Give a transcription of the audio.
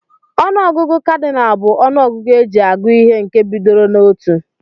Onụ ọgụgụ Kadinal bu ọnụ ọgụgụ eji agụ ihe nke bidoro na otụ.